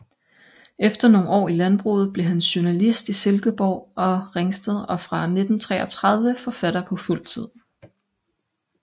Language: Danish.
Efter nogle år i landbruget blev han journalist i Silkeborg og Ringsted og fra 1933 forfatter på fuld tid